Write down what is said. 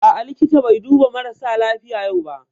A'a, likita bai duba marasa lafiya yau ba